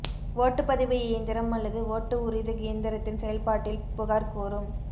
ஓட்டுப்பதிவு இயந்திரம் அல்லது ஓட்டு உறுதி இயந்திரத்தின் செயல்பாட்டில் புகார் கூறும்